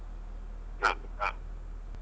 ಹಾ ಹಾ.